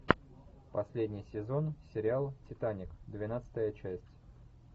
последний сезон сериал титаник двенадцатая часть